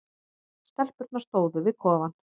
Stelpurnar stóðu við kofann.